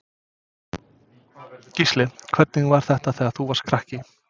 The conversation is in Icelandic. Gísli: Hvernig var þetta þegar þú varst krakki?